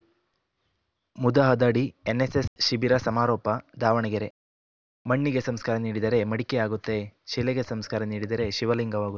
ಮುದಹದಡಿ NSS ಶಿಬಿರ ಸಮಾರೋಪ ದಾವಣಗೆರೆ ಮಣ್ಣಿಗೆ ಸಂಸ್ಕಾರ ನೀಡಿದರೆ ಮಡಿಕೆಯಾಗುತ್ತೆ ಶಿಲೆಗೆ ಸಂಸ್ಕಾರ ನೀಡಿದರೆ ಶಿವಲಿಂಗವಾಗು